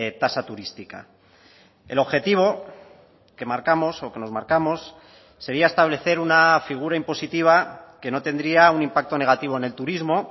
tasa turística el objetivo que marcamos o que nos marcamos sería establecer una figura impositiva que no tendría un impacto negativo en el turismo